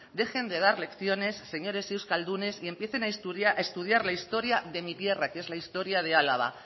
dejen de dar lecciones señores euskaldunes y empiecen a estudiar la historia de mi tierra que es la historia de álava